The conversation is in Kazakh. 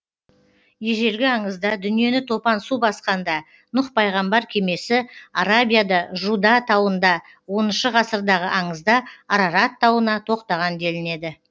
ежелгі аңызда дүниені топан су басқанда нұх пайғамбар кемесі арабияда жуда тауында оныншы ғасырдағы аңызда арарат тауына тоқтаған делінеді